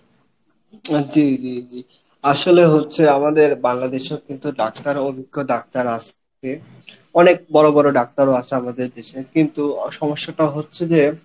জি জি জি আসলে হচ্ছে আমাদের বাংলাদেশেও কিন্তু ডাক্তার অভিজ্ঞ ডাক্তার রা আসে অনেক বড় বড় ডাক্তারও আসে আমাদের দেশে কিন্তু সমস্যা টা হচ্ছে যে